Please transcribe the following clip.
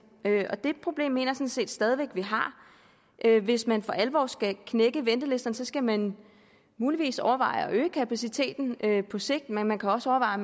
og det problem mener jeg set stadig væk at vi har hvis man for alvor skal knække ventelisterne skal man muligvis overveje at øge kapaciteten på sigt men man kan også overveje